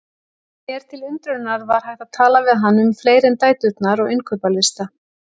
Mér til undrunar var hægt að tala við hann um fleira en dæturnar og innkaupalista.